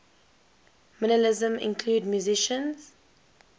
minimalism include musicians